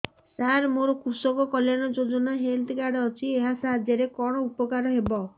ସାର ମୋର କୃଷକ କଲ୍ୟାଣ ଯୋଜନା ହେଲ୍ଥ କାର୍ଡ ଅଛି ଏହା ସାହାଯ୍ୟ ରେ କଣ ଉପକାର ହବ